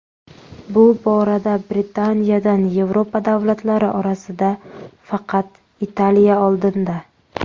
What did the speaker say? Bu borada Britaniyadan Yevropa davlatlari orasida faqat Italiya oldinda.